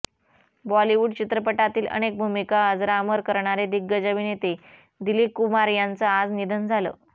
बॉलिवूड चित्रपटांतील अनेक भूमिका अजरामर करणारे दिग्गज अभिनेते दिलीप कुमार यांचं आज निधन झालं